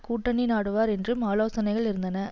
கூட்டணி நாடுவார் என்றும் ஆலோசனைகள் இருந்தன